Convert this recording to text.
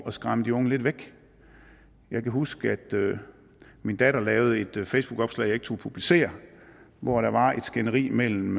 at skræmme de unge lidt væk jeg kan huske at min datter lavede et facebookopslag jeg ikke turde publicere hvor der var et skænderi mellem